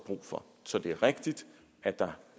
brug for så det er rigtigt at der